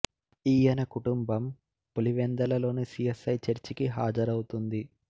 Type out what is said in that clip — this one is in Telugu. ఈయన కుటుంబం పులివెందలలోని సి ఎస్ ఐ చర్చికి హాజరౌతుంది